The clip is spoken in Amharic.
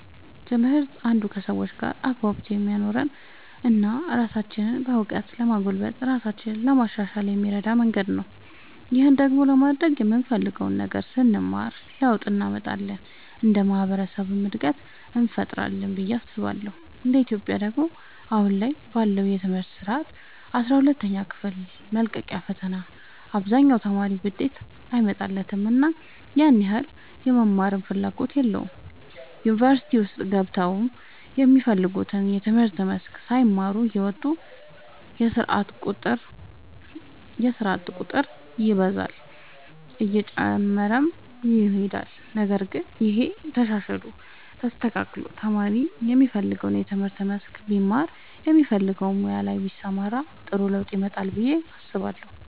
ትምህርት አንዱ ከሰዎች ጋር አግባብቶ የሚያኖረን እና ራሳችንንም በእውቀት ለማጎልበት ራሳችንን ለማሻሻል የሚረዳን መንገድ ነው። ይህን ደግሞ ለማድረግ የምንፈልገውን ነገር ስንማር ለውጥ እንመጣለን እንደ ማህበረሰብም እድገትን እንፈጥራለን ብዬ አስባለሁ እንደ ኢትዮጵያ ደግሞ አሁን ላይ ባለው የትምህርት ስርዓት አስራ ሁለተኛ ክፍል መልቀቂያ ፈተና አብዛኛው ተማሪ ውጤት አይመጣለትምና ያን ያህል የመማርም ፍላጎት የለውም ዩኒቨርሲቲ ውስጥ ገብተውም የሚፈልጉትን የትምህርት መስክ ሳይማሩ እየወጡ የስርዓት ቁጥር ይበዛል እየጨመረም ይሄዳል ነገር ግን ይሄ ተሻሽሎ ተስተካክሎ ተማሪ የሚፈልገውን የትምህርት መስክ ቢማር በሚፈልገው ሙያ ላይ ቢሰማራ ጥሩ ለውጥ ያመጣል ብዬ አስባለሁ።